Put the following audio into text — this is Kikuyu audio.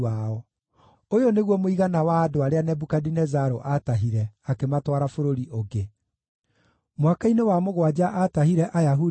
Ũyũ nĩguo mũigana wa andũ arĩa Nebukadinezaru aatahire akĩmatwara bũrũri ũngĩ: mwaka-inĩ wa mũgwanja aatahire Ayahudi 3,023;